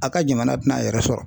A ka jamana tɛna a yɛrɛ sɔrɔ